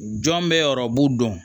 Jɔn bɛ dɔn